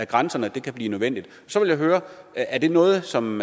grænserne kan blive nødvendigt så vil jeg høre er det noget som